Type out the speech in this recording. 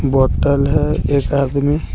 बोतल है एक आदमी--